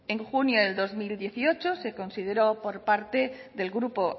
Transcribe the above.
en junio del dos mil dieciocho se consideró por parte del grupo